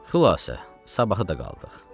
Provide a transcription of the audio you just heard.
Xülasə, sabahı da qaldıq.